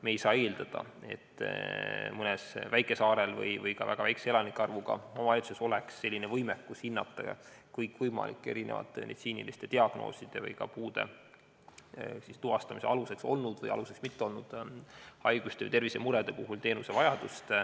Me ei saa eeldada, et mõnel väikesaarel või väga väikese elanike arvuga omavalitsusel oleks võimekus hinnata kõikvõimalike meditsiiniliste diagnooside või puude tuvastamise aluseks olnud või mitte olnud haiguste või tervisemurede puhul teenusevajadust.